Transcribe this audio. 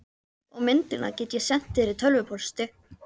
Og myndina get ég sent þér í tölvupósti.